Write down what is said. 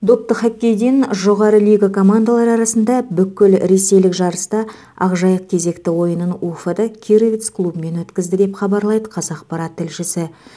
допты хоккейден жоғары лига командалары арасында бүкілресейлік жарыста ақжайық кезекті ойынын уфада кировец клубымен өткізді деп хабарлайды қазақпарат тілшісі